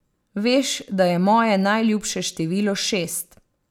Veš, da je moje najljubše število šest.